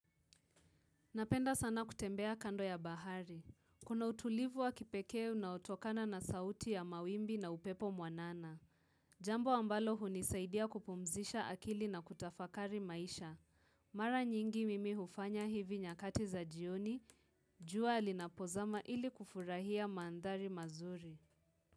Napenda sana kutembea kando ya bahari. Kuna utulivu wa kipekee unaotokana na sauti ya mawimbi na upepo mwanana. Jambo ambalo hunisaidia kupumzisha akili na kutafakari maisha. Mara nyingi mimi hufanya hivi nyakati za jioni. Jua linapozama ili kufurahia mandhari mazuri.